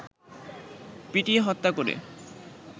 পিটিয়ে হত্যা করে